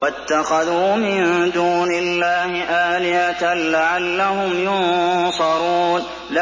وَاتَّخَذُوا مِن دُونِ اللَّهِ آلِهَةً لَّعَلَّهُمْ يُنصَرُونَ